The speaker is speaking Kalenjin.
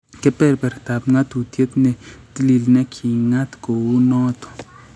Kebebertap ng'atuutyet ne tiliil ne ki king'at ko uu nooto: